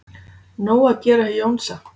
Nóg að gera hjá Jónsa